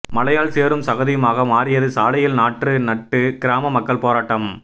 மழையால் சேறும் சகதியுமாக மாறியது சாலையில் நாற்று நட்டு கிராம மக்கள் போராட்டம்